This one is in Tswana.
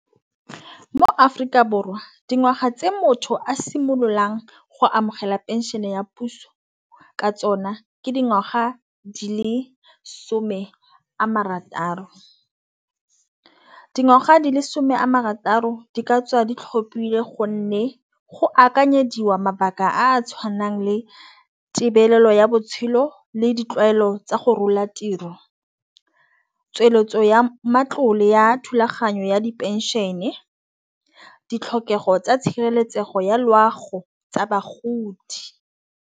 Mo-Aforika Borwa dingwaga tse motho a simololang go amogela phenšene ya puso ka tsona ke dingwaga di lesome a marataro. Dingwaga di lesome a marataro di ka tswa di tlhopile gonne go akanyetsiwa mabaka a tshwanang le tebelelo ya botshelo le ditlwaelo tsa go rola tiro. Tsweletso ya matlole ya thulaganyo ya diphenšene ditlhokego tsa tshireletsego ya loago tsa bagodi.